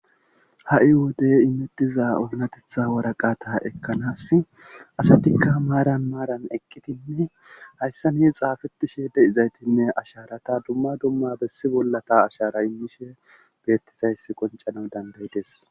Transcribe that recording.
Ha'i wodey imettiza ogunatetha waraqata ekkanas asatikka maaran maaran eqqitinne hayssa ni xaafetishe de7izaytinne asharata dumma dumma bessi bollata ashara immishe beettizayss qoncana dandayides.